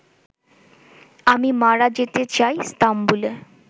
আমি মারা যেতে চাই ইস্তাম্বুলে